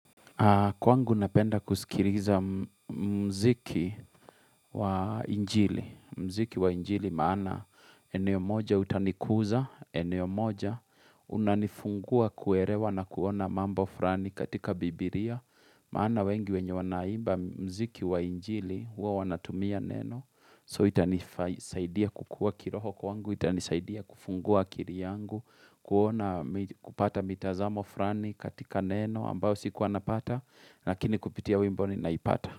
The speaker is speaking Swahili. Kwangu napenda kusikiriza muziki wa injili, muziki wa injili maana eneo moja utanikuza, eneo moja unanifungua kuerewa na kuona mambo furani katika bibiria, maana wengi wenye wanaimba muziki wa injili huwa wanatumia neno. So itanisaidia kukua kiroho kwangu, ita nisaidia kufungua akiri yangu, kuona kupata mitazamo furani katika neno ambao sikuwa napata, lakini kupitia wimboni naipata.